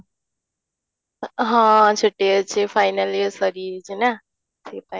ହଁ, ଛୁଟି ଅଛି final ସାରି ଯାଇଛି ନା ସେଥିପାଇଁ